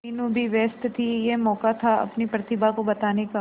मीनू भी व्यस्त थी यह मौका था अपनी प्रतिभा को बताने का